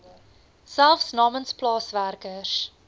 selfs namens plaaswerkers